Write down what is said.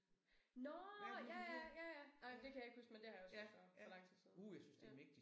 Nåh ja ja ja ja nej men det kan jeg ikke huske men det har jeg også set før det så lang tid siden nu ja